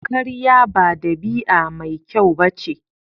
Karya ba dabi'a mai kyau ba ce.